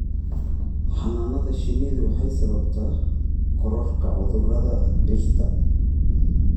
Xannaanada shinnidu waxay sababtaa kororka cudurrada dhirta.